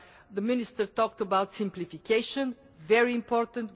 The Minister talked about simplification very important.